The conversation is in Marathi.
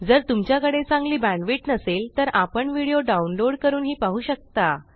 जर तुमच्याकडे चांगली बॅण्डविड्थ नसेल तर आपण व्हिडिओ डाउनलोड करूनही पाहू शकता